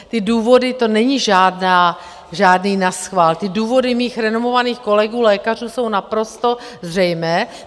Ty důvody, to není žádný naschvál, ty důvody mých renomovaných kolegů lékařů jsou naprosto zřejmé.